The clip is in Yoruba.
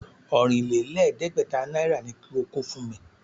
Ọ̀rìnlẹ̀ẹ́dẹ́gbẹ̀ta náírà ni kí o kó fún mi!